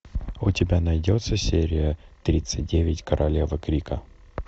у тебя найдется серия тридцать девять королева крика